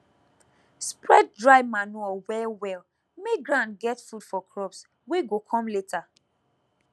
spread dry manure wellwell make ground get food for crops wey go come later